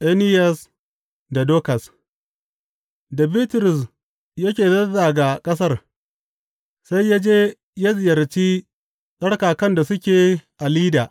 Eniyas da Dokas Da Bitrus yake zazzaga ƙasar, sai ya je ya ziyarci tsarkakan da suke a Lidda.